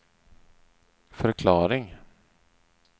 förklaring